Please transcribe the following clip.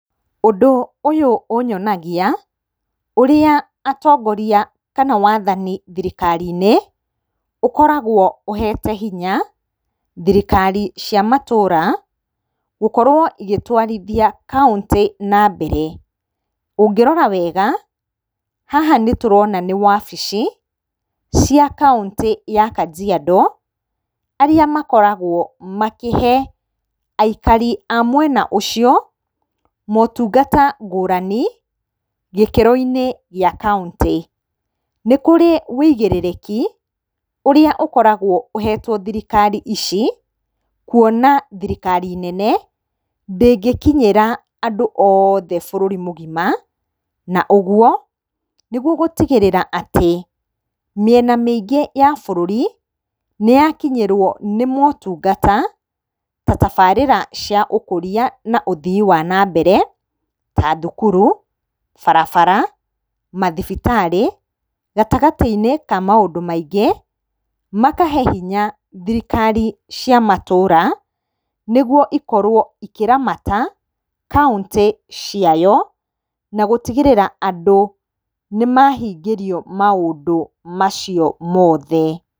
Ũndũ ũyũ ũnyonagia ũrĩa atongoria kana wathani thirikari-inĩ ũkoragwo ũhete hinya thirikari cia matũra gũkorwo igĩtwarithia kauntĩ na mbere. Ũngĩrora wega haha nĩtũrona nĩ wabici cia kauntĩ ya Kajiado arĩa makoragwo makĩhe aikari a mwena ũcio motungata ngũrani gĩkĩro-inĩ gĩa kauntĩ. Nĩ kũrĩ ũigĩrĩrĩki ũrĩa ũkoragwo ũhetwo thirikari ici kuona thirikari nene ndĩngĩkinyĩra andũ othe bũrũri mũgima. Na ũguo nĩguo gũtigĩrĩra atĩ mĩena mĩingĩ ya bũrũri nĩyakinyĩrwo nĩ motungata ta tabarĩra cia ũkũria na ũthii wa na mbere ta thukuru, barabara, mathibitarĩ gatagatĩ-inĩ ka maũndũ maingĩ. Makahe hinya thirikari cia matũra nĩguo cikorwo cikĩramata kauntĩ ciayo na gũtigĩrĩra andũ nĩmahingĩrio maũndũ macio mothe.